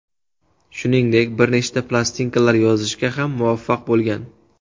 Shuningdek, bir nechta plastinkalar yozishga ham muvaffaq bo‘lgan.